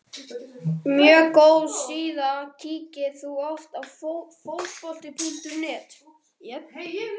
mjög góð síða Kíkir þú oft á Fótbolti.net?